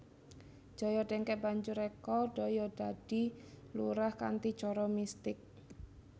Joyo dengkek banjur reka daya dadi lurah kanthi cara mistik